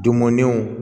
Dunmunenw